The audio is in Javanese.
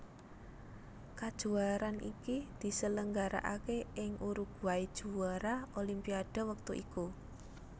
Kajuwaraan iki diselenggarakaké ing Uruguay juwara Olimpiade wektu iku